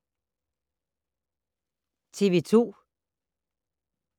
TV 2